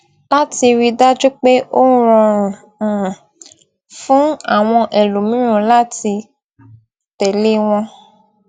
láti rí i dájú pé ó rọrùn um fún àwọn ẹlòmíràn láti tẹ̀lé wọn